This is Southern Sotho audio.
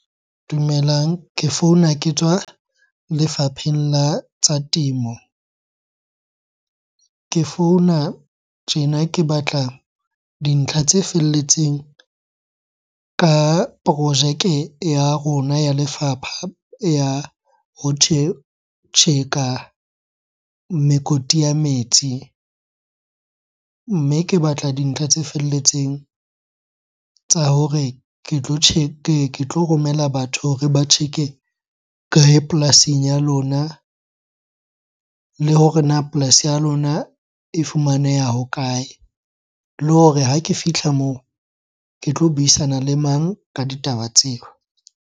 Dumelang. Ke founa ke tswa lefapheng la tsa temo. Ke founa tjena ke batla dintlha tse felletseng ka projeke ya rona ya lefapha ya ho tjheka mekoti ya metsi. Mme ke batla dintlha tse felletseng tsa hore ke tlo ke tlo romela batho hore ba tjheke kae polasing ya lona? Le hore na polasi ya lona e fumaneha ho kae? Le hore ha ke fihla moo, ke tlo buisana le mang ka ditaba tseo?